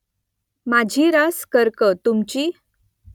माझी रास कर्क . तुमची ?